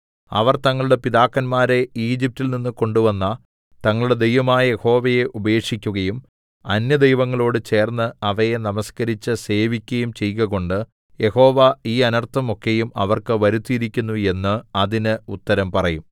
അവർ തങ്ങളുടെ പിതാക്കന്മാരെ ഈജിപ്റ്റിൽ നിന്ന് കൊണ്ടുവന്ന തങ്ങളുടെ ദൈവമായ യഹോവയെ ഉപേക്ഷിക്കയും അന്യദൈവങ്ങളോട് ചേർന്ന് അവയെ നമസ്കരിച്ച് സേവിക്കയും ചെയ്കകൊണ്ട് യഹോവ ഈ അനർത്ഥം ഒക്കെയും അവർക്ക് വരുത്തിയിരിക്കുന്നു എന്ന് അതിന് ഉത്തരം പറയും